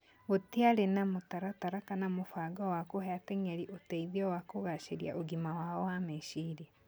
Gũtĩarĩ na mũtaratara kana mũbango wa kũhe ateng'eri ũteithio wa kũgacĩria ũgima wao wa meciria.